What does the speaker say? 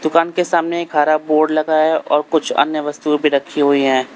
दुकान के सामने एक हरा बोर्ड लगा है और कुछ अन्य वस्तुएं भी रखी हुई हैं।